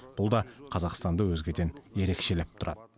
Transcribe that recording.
бұл да қазақстанды өзгеден ерекшелеп тұрады